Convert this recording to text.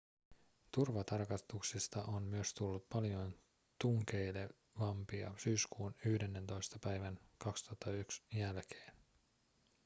turvatarkastuksista on myös tullut paljon tunkeilevampia syyskuun 11 päivän 2001 jälkeen